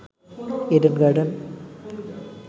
Eden garden